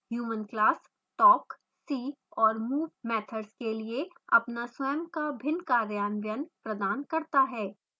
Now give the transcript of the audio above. human class talk see और move methods के लिए अपना स्वयं का भिन्न कार्यान्वयन प्रदान करता है